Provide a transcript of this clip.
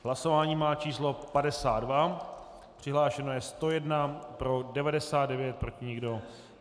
Hlasování má číslo 52, přihlášeno je 101, pro 99, proti nikdo.